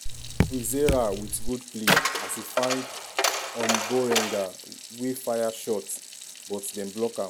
kwizera wit good play as e find omborenga we fire straight but dem block am.